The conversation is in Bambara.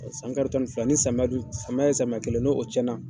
San karo tan ni fila ni samiya dun samiya ye samiya kelen ye ni o tiyɛn na.